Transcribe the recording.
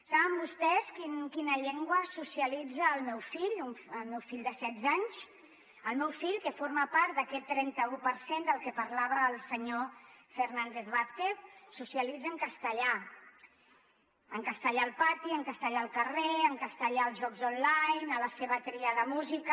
saben vostès en quina llengua es socialitza el meu fill de setze anys el meu fill que forma part d’aquest trenta un per cent del que parlava el senyor fernández vázquez socialitza en castellà en castellà al pati en castellà al carrer en castellà als jocs online a la seva tria de música